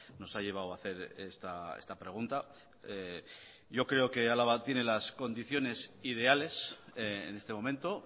nos ha llevado a hacer esta pregunta yo creo que álava tiene las condiciones ideales en este momento